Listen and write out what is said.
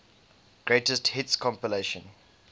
greatest hits compilation